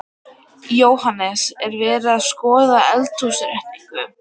Jóhannes: Er verið að skoða eldhúsinnréttingu?